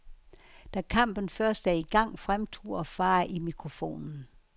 Da kampen først er i gang, fremturer far i mikrofonen.